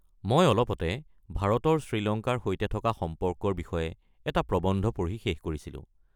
মই অলপতে ভাৰতৰ শ্ৰীলঙ্কাৰ সৈতে থকা সম্পৰ্কৰ বিষয়ে এটা প্ৰবন্ধ পঢ়ি শেষ কৰিছিলো।